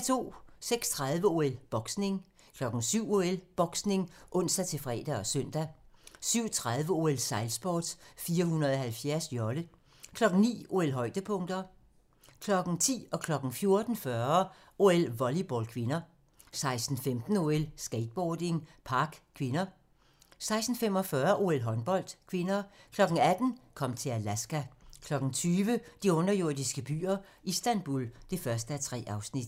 06:30: OL: Brydning 07:00: OL: Boksning (ons-fre og søn) 07:30: OL: Sejlsport - 470-jolle 09:00: OL: Højdepunkter 10:00: OL: Volleyball (k) 14:40: OL: Volleyball (k) 16:15: OL: Skateboarding, Park (k) 16:45: OL: Håndbold (k) 18:00: Kom til Alaska 20:00: De underjordiske byer - Istanbul (1:3)